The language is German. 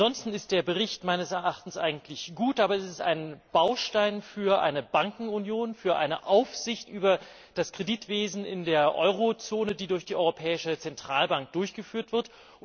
Ansonsten ist der Bericht meines Erachtens gut, aber es ist ein Baustein für eine Bankenunion, für eine Aufsicht über das Kreditwesen in der Eurozone, die durch die Europäische Zentralbank durchgeführt wird.